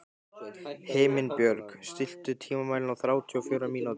Himinbjörg, stilltu tímamælinn á þrjátíu og fjórar mínútur.